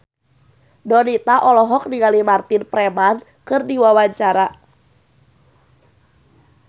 Donita olohok ningali Martin Freeman keur diwawancara